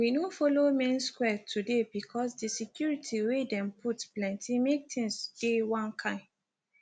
we no follow main square today bcoz di security wey dem put plenty make tins dey one kain